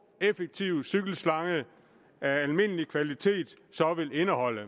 effektiv cykelslange af almindelig kvalitet så vil indeholde